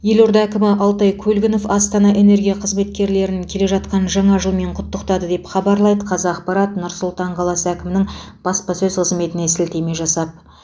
елорда әкімі алтай көлгінов астана энергия қызметкерлерін келе жатқан жаңа жылмен құттықтады деп хабарлайды қазақпарат нұр сұлтан қаласы әкімінің баспасөз қызметіне сілтеме жасап